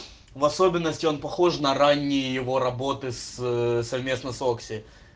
в особенности он похож на ранней его работы с совместно с окси